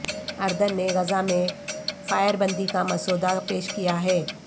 اردن نے غزہ میں فائر بندی کا مسودہ پیش کیا ہے